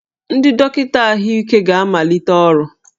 Ndị dọkịta ahụike ga-amalite ọrụ